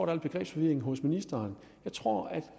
er en begrebsforvirring hos ministeren jeg tror at